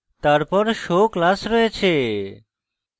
তারপর show class রয়েছে